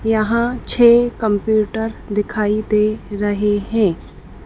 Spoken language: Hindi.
यहां छः कंप्यूटर दिखाई दे रहे हैं।